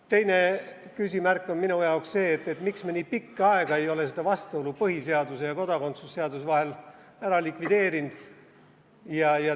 Teine küsimärk on minu jaoks see, miks me nii pikka aega ei ole seda vastuolu põhiseaduse ja kodakondsuse seaduse vahel likvideerinud.